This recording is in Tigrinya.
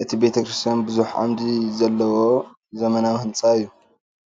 እዚ ቤተ ክርስቲያን ብዙሕ ዓዕምዲ ዘለዎ ዘመናዊ ህንፃ እዩ፡፡